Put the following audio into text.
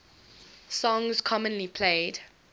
songs commonly played